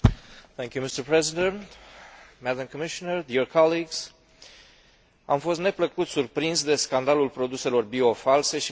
Am fost neplăcut surprins de scandalul produselor bio false și mai ales de amploarea filierei care comercializa produsele respective în întreaga Europă.